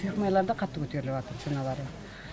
фирмаларда қатты көтеріліватыр ценалары